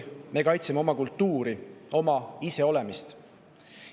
Me kaitseme oma kultuuri, oma iseolemist.